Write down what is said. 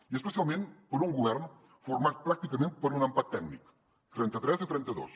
i especialment per un govern format pràcticament per un empat tècnic trenta tres a trenta dos